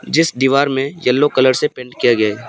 जिस दीवार में येलो कलर से पेंट किया गया है।